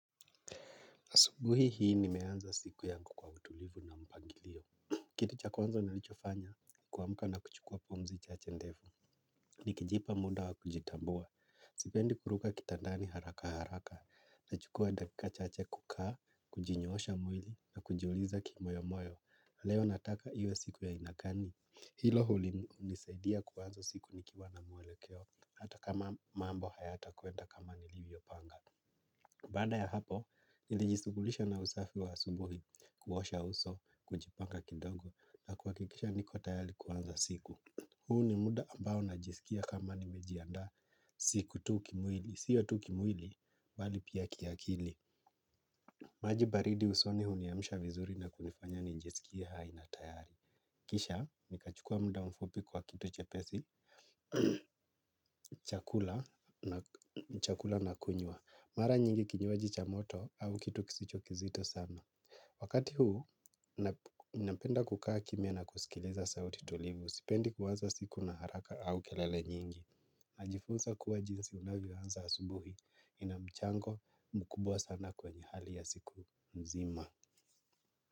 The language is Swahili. Asubuhi hii nimeanza siku yangu kwa utulivu na mpangilio. Kitu cha kwanzo nilichofanya kuamka na kuchukua pumzi chache ndefu. Nikijipa muda wa kujitambua. Sipendi kuruka kitandani haraka haraka. Nachukua dakika chache kukaa, kujinyoosha mwili na kujiuliza kimoyo moyo. Leo nataka iwe siku ya aina kani. Hilo huli hunisaidia kuanzo siku nikiwa na mwelekeo. Hata kama mambo hayatakwenda kama nilivyopanga. Baada ya hapo, nilijisughulisha na usafi wa asubuhi kuosha uso kujipanga kidogo na kuhakikisha niko tayari kuanza siku. Huu ni muda ambao najisikia kama nimejiandaa si ku tu kimwili. Sio tu kimwili, bali pia kiakili. Maji baridi usoni huniamsha vizuri na kunifanya nijisikie hai na tayari. Kisha, nikachukua mda mfupi kwa kito chepesi, chakula na kunywa. Mara nyingi kinywaji cha moto au kitu kisicho kizito sana. Wakati huu, ninapenda kukaa kimya na kusikiliza sauti tulivu. Sipendi kuanza siku na haraka au kelele nyingi. Najifunsa kuwa jinsi unavyoanza asubuhi ina mchango mkubwa sana kwenye hali ya siku mzima.